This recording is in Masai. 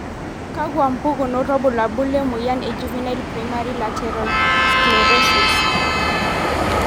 Kakwa mpukunot wobulabul lemoyian e Juvenile primary lateral sclerosis?